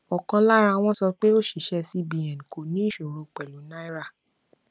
ọkan lara wọn sọ pé òṣìṣẹ cbn kò ní ìṣòro pẹlú náírà